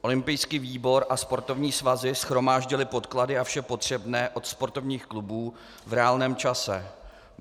Olympijský výbor a sportovní svazy shromáždily podklady a vše potřebné od sportovních klubů v reálném čase.